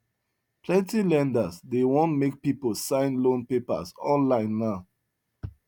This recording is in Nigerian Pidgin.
plenty lenders dey want make people sign loan papers online now